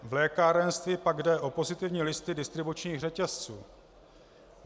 V lékárenství pak jde o pozitivní listy distribučních řetězců.